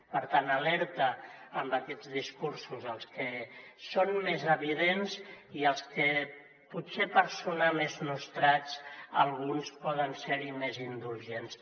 per tant alerta amb aquests discursos els que són més evidents i els que potser per sonar més nostrats alguns poden ser hi més indulgents